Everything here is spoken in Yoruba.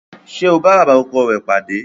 Ṣé ó bá bàbá ọkọ rẹ̀ pàdé?